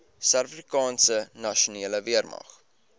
suidafrikaanse nasionale weermag